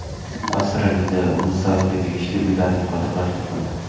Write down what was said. Avstraliyada muz davriga tegishli uylarning qoldiqlari topildi.